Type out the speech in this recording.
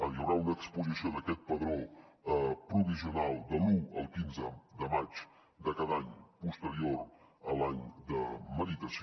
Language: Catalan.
hi haurà una exposició d’aquest padró provisional de l’un al quinze de maig de cada any posterior a l’any de meritació